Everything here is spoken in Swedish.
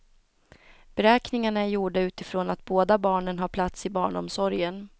Beräkningarna är gjorda utifrån att båda barnen har plats i barnomsorgen.